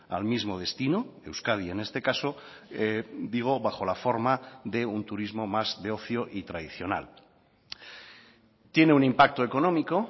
al mismo destino euskadi en este caso digo bajo la forma de un turismo más de ocio y tradicional tiene un impacto económico